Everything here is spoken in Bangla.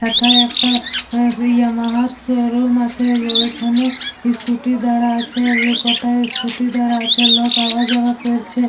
এথায় একটা ইয়ামাহা শোরুম আছে ওইখানে স্কুটি দাঁড়া আছে কটায় স্কুটি দাঁড়া আছে লোক আওয়া যাওয়া করছে।